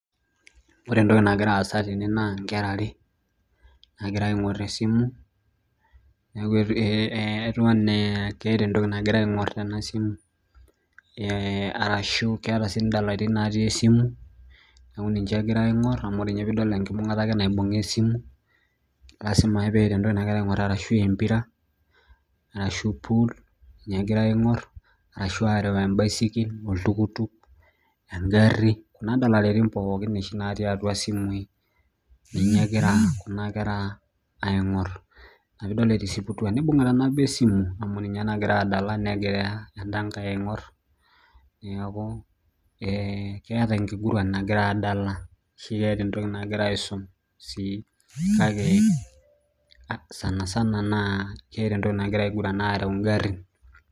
Wore entoki nakira aasa tene naa inkera ware naakira aingorr esimu, neeku etiu enaa keeta entoki nakira aingorr tena simu. Arashu keeta sii indalaitin natii esimu, neeku ninche ekira aingorr amu wore ninye piidol enkibungata ake naibunga esimu, lasima ake peeta entoki nakira aingorr arashu empira, arashu pool ninye ekira aingorr arashu aareu embaisikil, oltuktuk, engari, kuna dalareitin pookin oshi naati atua isimui ninye ekira kuna kera aingorr. Inia piidol etisiputua nibungita nabo esimu amu ninye nakira adala negira endangae aingorr, neeku keeta enkiguran nakira aadala ashu keeta entoki nakira aiisum sii, kake sana sana naa keeta entoki nakira aiguran aareu inkarrin.